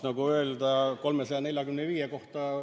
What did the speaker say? Palun, Kalle Grünthal, järgmisena!